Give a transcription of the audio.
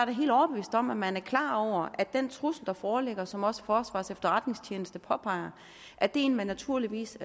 da helt overbevist om at man er klar over at den trussel der foreligger som også forsvarets efterretningstjeneste påpeger er en man naturligvis